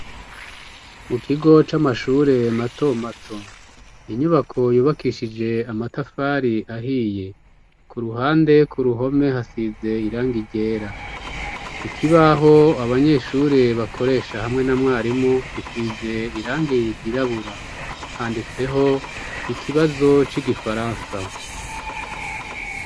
mu kigo c'amashure mato mato inyubako yubakishije amatafari ahiye ku ruhande ku ruhome hasize irangi ryera ikibaho abanyeshure bakoresha hamwe na mwarimu gisize irangi yirabura handitseho ikibazo c'igifaransa